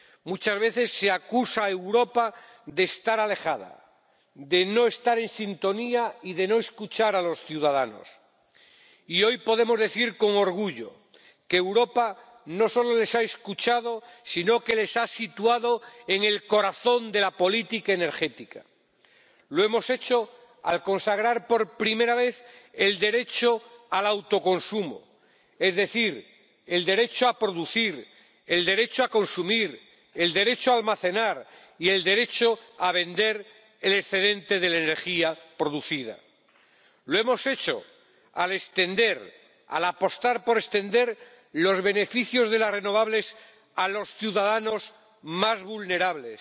Muchas veces se acusa a Europa de estar alejada, de no estar en sintonía y de no escuchar a los ciudadanos, y hoy podemos decir con orgullo que Europa no solo les ha escuchado sino que les ha situado en el corazón de la política energética. Lo hemos hecho al consagrar por primera vez el derecho al autoconsumo, es decir, el derecho a producir, el derecho a consumir, el derecho a almacenar y el derecho a vender el excedente de la energía producida. Lo hemos hecho al apostar por extender los beneficios de las renovables a los ciudadanos más vulnerables,